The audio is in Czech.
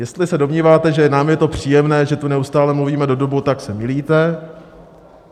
Jestli se domníváte, že nám je to příjemné, že tu neustále mluvíme do dubu, tak se mýlíte.